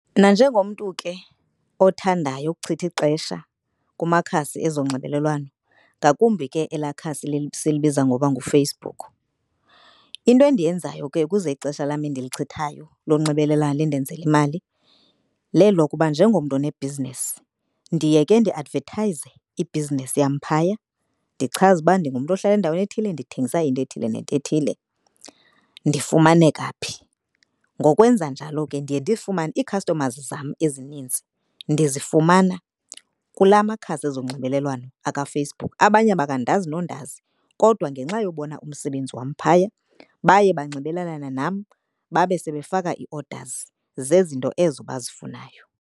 Nanjengomntu ke othandayo ukuchitha ixesha kumakhasi ezonxibelelwano ngakumbi ke elaa khasi silibiza ngoba nguFacebook. Into endiyenzayo ke ukuze ixesha lam endilichithayo lonxibelelwano lindenzele imali lelokuba njengomntu onebhizinesi ndiye ke ndiadvethayize ibhizinesi yam phaya. Ndichaze uba ndingumntu ohlala endaweni ethile ndithengisa into ethile nento ethile, ndifumaneka phi. Ngokwenza njalo ke ndiye ndifumane i-customers zam ezinintsi ndizifumana kula makhasi ezonxibelelwano akaFacebook. Abanye bakandazi nondazi kodwa ngenxa yobona umsebenzi wam phaya baye banxibelelane nam babe sebefaka i-orders zezinto ezo bazifunayo.